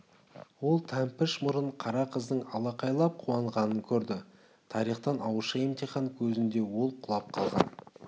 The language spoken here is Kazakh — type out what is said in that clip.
ол тәмпіш мұрын қара қыздың алақайлап қуанғанын көрді тарихтан ауызша емтихан көзінде ол құлап қалған